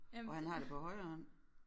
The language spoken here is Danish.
Og han har det på højre hånd